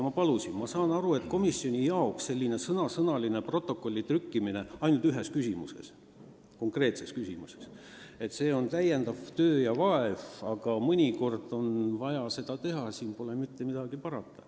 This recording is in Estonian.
Ma saan aru, et komisjoni ametnikele on selline sõnasõnaline protokolli trükkimine – küll ainult ühes konkreetses küsimuses – täiendav töö ja vaev, aga mõnikord on vaja seda teha, pole mitte midagi parata.